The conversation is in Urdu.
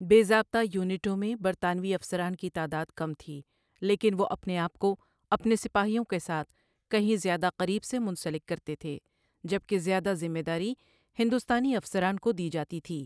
بے ضابطہ یونٹوں میں برطانوی افسران کی تعداد کم تھی، لیکن وہ اپنے آپ کو اپنے سپاہیوں کے ساتھ کہیں زیادہ قریب سے منسلک کرتے تھے، جب کہ زیادہ ذمہ داری ہندوستانی افسران کو دی جاتی تھی۔